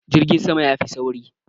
Jirgin sama ya fi sauri.